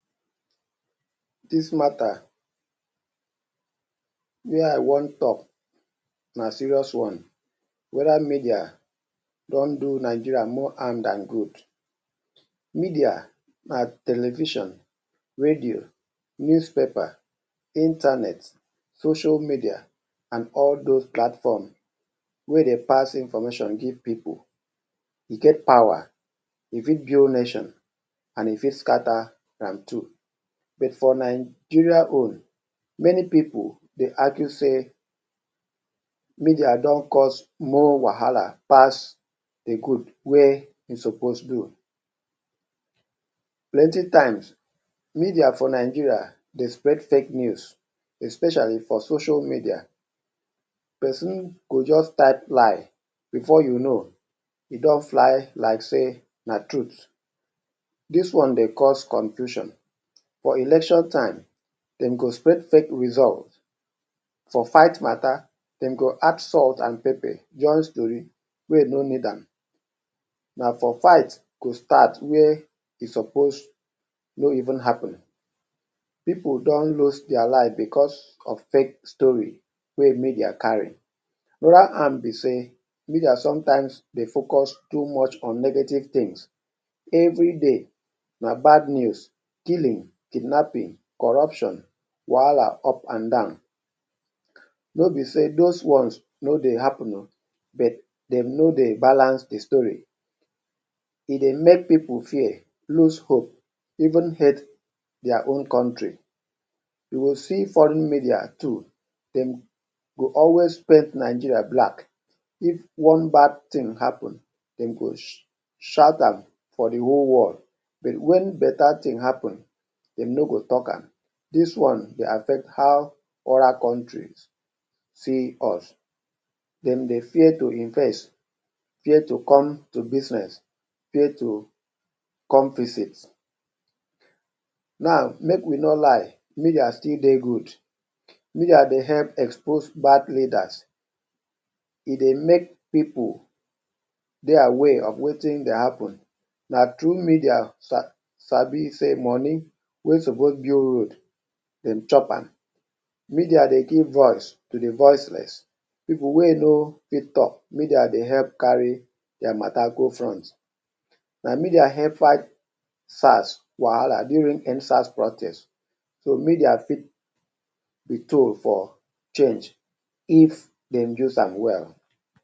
Dis matter wey I wan talk na serious one; whether media don do Nigeria more harm dan good. Media na television, radio, newspaper, internet, social media and all those platform wey dey pass information give pipu. E get power, e fit build nation and e fit scatter am too. But for Nigeria own, many pipu dey argue sey media don cause more wahala pass de good wey e suppose do. Plenty times media for Nigeria dey spread fake news especially for social media. Person go just type lie before you know, e don fly like sey na truth. Dis one dey cause confusion. For election time, dem go spread fake result. For fight matter, dem go add salt and pepper just to where you no need am. Na for fight go start where e suppose no even happen. Pipu don lose their life because of fake story wey media carry. Another one be sey media sometimes dey focus too much on negative things. Everyday na bad news; killing, kidnapping, corruption, wahala up and down. No be sey those ones no dey happen oo but dem no dey balance de story. E dey make pipu fear, lose hope, even hate their own country. You go see foreign media too dem go always paint Nigeria black. If one bad thing happen dem go shout am for de whole world but wen better thing happen dem no go talk am. Dis one dey affect how other countries see us. Dem dey fear to invest, fear to come to business, fear to come visit. Now make we no lie, media still dey good. Media dey help expose bad leaders, e dey make pipu dey aware of wetin dey happen. Na through media sabi sey money wey suppose build road, dem chop am. Media dey give voice to de voiceless. Pipu wey no fit talk, media dey help carry their matter go front. Na media help fight SARS wahala during End-SARS protest. So media fit be tool for change if dem use am well.